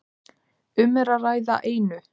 Um er að ræða einu